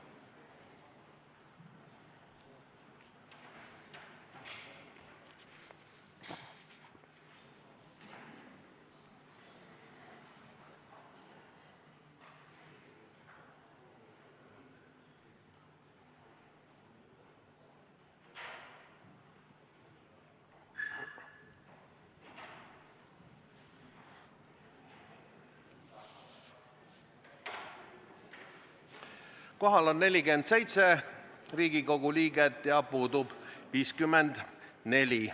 Kohaloleku kontroll Kohal on 47 Riigikogu liiget ja puudub 54.